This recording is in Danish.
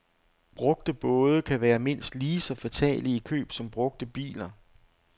Brugte både kan være mindst lige så fatale i køb som brugte biler.